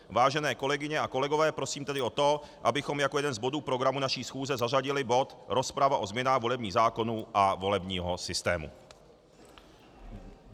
Vážené kolegyně a kolegové, prosím tedy o to, abychom jako jeden z bodů programu naší schůze zařadili bod Rozprava o změnách volebních zákonů a volebního systému.